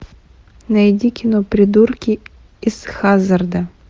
найди кино придурки из хаззарда